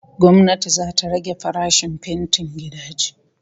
Gwamnati zata rage farashin fentin gidaje